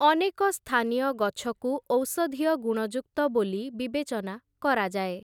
ଅନେକ ସ୍ଥାନୀୟ ଗଛକୁ ଔଷଧୀୟ ଗୁଣଯୁକ୍ତ ବୋଲି ବିବେଚନା କରାଯାଏ ।